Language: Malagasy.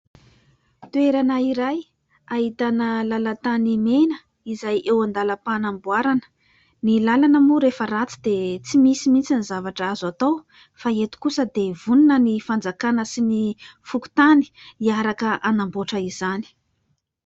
Toerana iray ahitana lalan-tany mena izay eo an-dalam-panamboarana. Ny lalana moa rehefa ratsy dia tsy misy mihitsy ny zavatra azo atao fa eto kosa dia vonona ny fanjakana sy ny fokontany hiaraka hanamboatra izany.